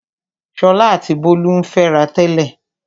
Ṣọlá àti Bólú ń fẹ́ra tẹ́lẹ̀.